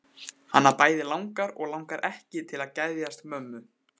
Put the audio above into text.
Hana bæði langar og langar ekki til að geðjast mömmu.